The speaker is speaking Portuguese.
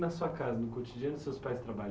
Na sua casa, no cotidiano, seus pais trabalha